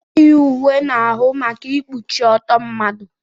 Ana eyi uwe n'ahụ maka ikpuchi ọtọ mmadụ.